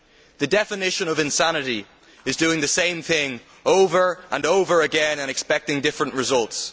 The definition of insanity is doing the same thing over and over again and expecting different results